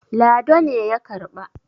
lado ne ya karɓa